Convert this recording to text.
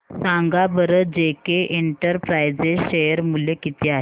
सांगा बरं JK enterprises share मूल्य किती आहे